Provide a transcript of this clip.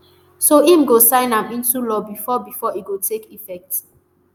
so im go sign am into law bifor bifor e go take effect